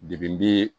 bi